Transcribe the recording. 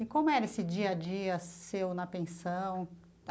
E como era esse dia a dia seu na pensão?